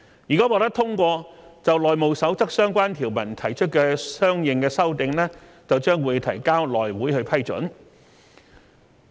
如果獲得通過，就《內務守則》相關條文提出的相應修訂將提交內會批准。